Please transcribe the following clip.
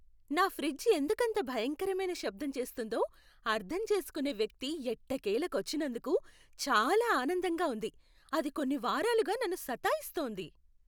నా ఫ్రిజ్ ఎందుకంత భయంకరమైన శబ్దం చేస్తోందో అర్థం చేసుకునే వ్యక్తి ఎట్టకేలకు వచ్చినందుకు చాలా ఆనందంగా ఉంది, అది కొన్ని వారాలుగా నన్ను సతాయిస్తోంది!